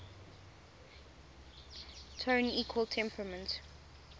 tone equal temperament